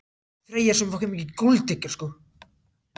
Þau fóru fetið og nálguðust lestina hægt.